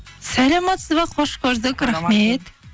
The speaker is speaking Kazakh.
саламатсыз ба қош көрдік рахмет